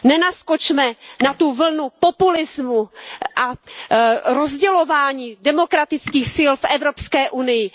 Nenaskočme na tu vlnu populismu a rozdělování demokratických sil v Evropské unii.